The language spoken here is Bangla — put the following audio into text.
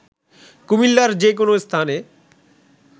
কুমিল্লার যে কোনো স্থানে